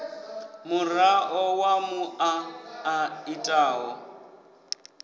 muraḓo wa muṱa a itaho